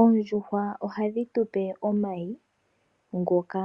Oondjuhwa ohadhi tupe omayi ngoka